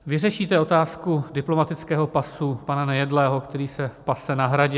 Vyřešíte otázku diplomatického pasu pana Nejedlého, který se pase na Hradě?